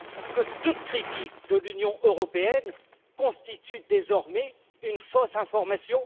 Que toute critique de l'Union européenne constitue désormais une fausse information?